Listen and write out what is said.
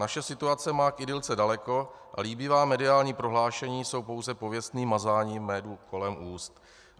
Naše situace má k idylce daleko a líbivá mediální prohlášení jsou pouze pověstným mazáním medu kolem úst.